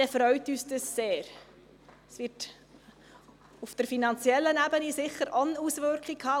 Das wird auf der finanziellen Ebene sicher auch eine Auswirkung haben.